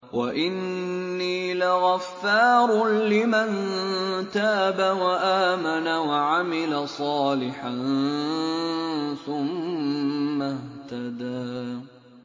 وَإِنِّي لَغَفَّارٌ لِّمَن تَابَ وَآمَنَ وَعَمِلَ صَالِحًا ثُمَّ اهْتَدَىٰ